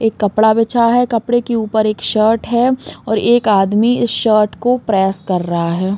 एक कपड़ा बिछा है। कपड़े के ऊपर एक शर्ट है और एक आदमी शर्ट को प्रेस कर रहा है।